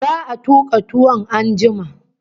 Za'a tuka tuwon an jima